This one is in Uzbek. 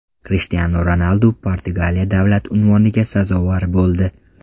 Krishtianu Ronaldu Portugaliya davlat unvoniga sazovor bo‘ldi .